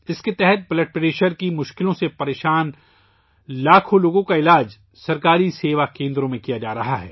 اس کے تحت blood pressure کے مسائل سے دوچار لاکھوں لوگوں کا علاج سرکاری سیوا کیندروں میں کیا جا رہا ہے